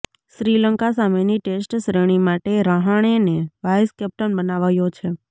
શ્રીલંકા સામેની ટેસ્ટ શ્રેણી માટે રહાણેને વાઇસ કેપ્ટન બનાવાયો છે